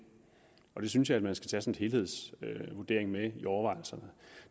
jeg synes at man skal tages en sådan helhedsvurdering med i overvejelserne